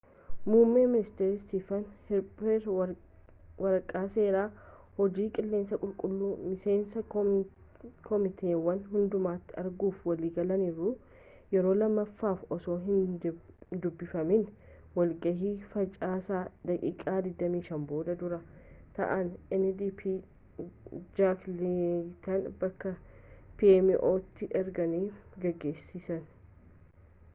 muummeen ministeera isteefan harpeer waraqa seeraa hojii qilleensa qulqullu' miseensa komiteewwan hundumaati erguuf waliif galaniiru yeroo lammaffaf osoo hin dubbifamiin walgahii facaasa daqiiqa 25 boode duraa ta'an ndp jaak leeyitan bakka pmo'tti erga geggeessanii